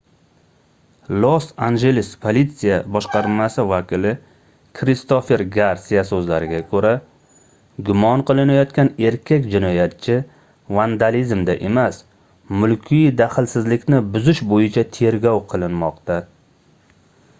los-anjeles politsiya boshqarmasi vakili kristofer garsiya soʻzlariga koʻra gumon qilinayotgan erkak jinoyatchi vandalizmda emas mulkiy daxlsizlikni buzish boʻyicha tergov qilinmoqda